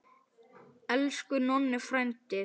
Elsku Nonni frændi.